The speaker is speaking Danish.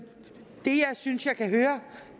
er synes jeg kan høre